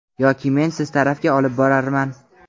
yoki men siz tarafga olib borarman.